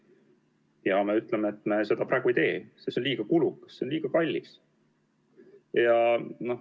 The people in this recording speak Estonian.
Ja me ütleme, et me seda praegu ei tee, sest see on liiga kulukas, liiga kallis.